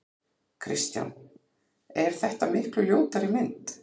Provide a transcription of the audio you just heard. Kristján: Er þetta miklu ljótari mynd?